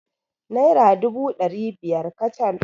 Naira dubu ɗari biyar kacal.